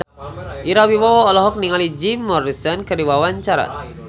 Ira Wibowo olohok ningali Jim Morrison keur diwawancara